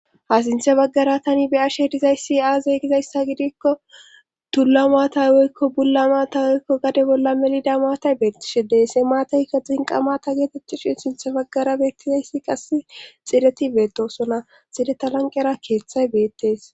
Ha sinthe baggara tani be ashe dizayssi aazeygizayssa gidikko tulla maatay woykko bulla maata woykko gade bolla melida maatay beettishe deesse maataykka xinqamata geetetthishin sinthe baggara beettizayssi qass xireti beetosona xireta lanqera keeththay beettees